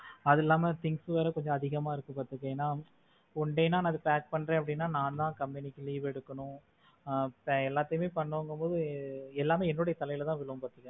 அது இல்லாம things வேற கொஞ்சம் அதிகமா இருக்கு பார்த்தினா, one day நான் pack பண்றேன். அப்படின்னா நான் தான் கம்பெனிக்கு leave எடுக்கணும் ஆஹ் எல்லாத்தையும் பண்ணனும் அப்படிங்கும் போது எல்லாமே என்னுடைய தலையில தான் விழும் பாத்துக்கோ.